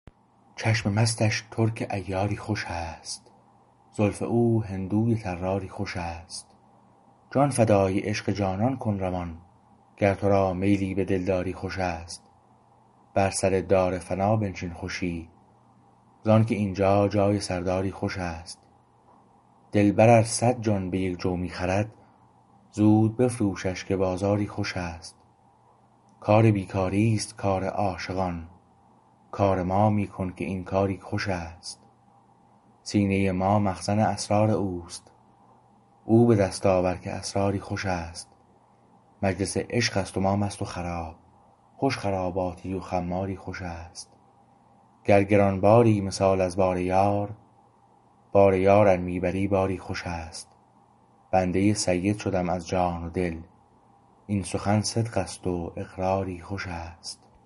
چشم مستش ترک عیاری خوش است زلف او هندوی طراری خوشست جان فدای عشق جانان کن روان گر تو را میلی به دلداری خوشست بر سر دار فنا بنشین خوشی زانکه اینجا جای سرداری خوشست دلبر ار صد جان به یک جو می خرد زود بفروشش که بازاری خوشست کار بی کاری است کار عاشقان کار ما می کن که این کاری خوشست سینه ما مخزن اسرار اوست او به دست آور که اسراری خوشست مجلس عشقست و ما مست و خراب خوش خراباتی و خماری خوشست گر گران باری مثال از بار یار بار یار ار می بری باری خوشست بنده سید شدم از جان و دل این سخن صدق است و اقراری خوشست